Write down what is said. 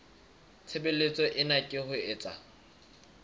tshebeletso ena ke ho etsa